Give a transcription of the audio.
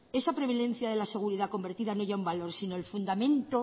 esa prevalencia de la seguridad convertida en ella un valor sino el fundamento